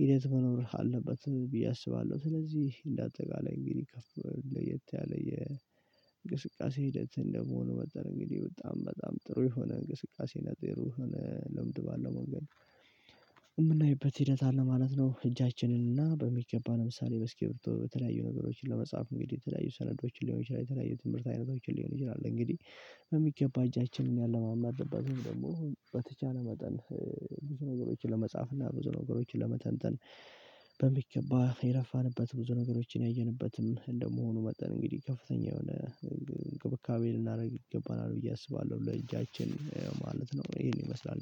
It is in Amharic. ሂደት መኖር አለበት ብዬ አስባለሁ። ስለዚህ እንደ አጠቃላይ እንግዲህ ከፍ ለየት ያለ የእንቅስቃሴ ሂደት እንደመሆኑ መጠን እንግዲህ በጣም በጣም ጥሩ የሆነ እንቅስቃሴ ጥሩ የሆነ ልምድ ባለው መንገድ የምናይበት ሂደት አለ ማለት ነው። እጃችንን እና በሚገባ ለምሳሌ በእስኪብርቶ በተለያዩ ነገሮችን ለመጻፍ እንግዲህ የተለያዩ ሰነዶችን ሊሆን ይችላል። የተለያዩ ትምህርት አይነቶችን ሊሆን ይችላል። እንግዲህ በሚገባ እጃችንን ያለማመድንበትን ደግሞ በተቻለ መጠን ብዙ ነገሮችን ለመጻፍ እና ብዙ ነገሮችን ለመተንተን በሚገባ የለፋንበት ብዙ ነገሮችን ያየንበትም እንደመሆኑ መጠን እንግዲህ ከፍተኛ የሆነ እንብካቤ ልናደርግ ይገባናል ብዬ አስባለሁ ለእጃችን ማለት ነው። ይሄን ይመስላል